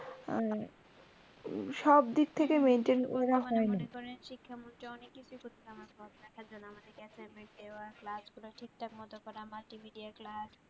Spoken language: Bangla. সব দিক থেকে maintain করা হয়না। এবার মনে করেন শিক্ষামন্ত্রী অনেক কিছুই করসে আমাদের পড়ালেখার জন্য আমাদের কে assignment দেওয়া, class করা, ঠিকঠাক মতো করা, multimidea class